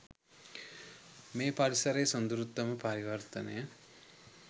මේ පරිසරයේ සොඳුරුතම පරිවර්තනය